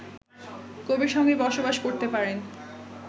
কবির সঙ্গেই বসবাস করতে পারেন